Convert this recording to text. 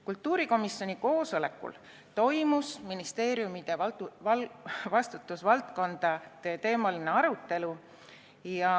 Kultuurikomisjoni koosolekul toimus ministeeriumide vastutusvaldkondade teemaline arutelu.